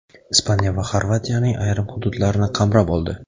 Ispaniya va Xorvatiyaning ayrim hududlarini qamrab oldi.